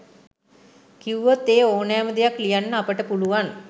කිව්වොත් ඒඕනෑම දෙයක් ලියන්න අපට පුළුවන්.